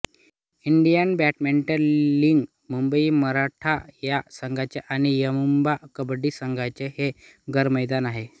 Indian badminton league Mumbai Maratha या संघांचे आणि यूमुंबा कबड्डी संघाचे हे घरमैदान आहे